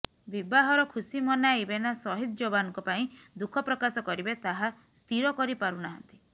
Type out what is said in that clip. ବିବାହର ଖୁସି ମନାଇବେ ନା ସହିଦ୍ ଯବାନଙ୍କ ପାଇଁ ଦୁଃଖପ୍ରକାଶ କରିବେ ତାହା ସ୍ଥିର କରି ପାରୁନାହାନ୍ତି